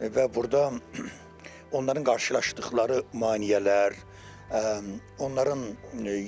Və burda onların qarşılaşdıqları maneələr, onların